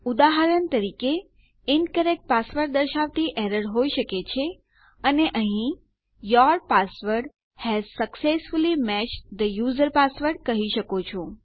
ઉદાહરણ તરીકે incorrect password દર્શાવતી એરર હોઈ શકે છે અને અહીં your password has successfully matched થે યુઝર પાસવર્ડ કહી શકો છો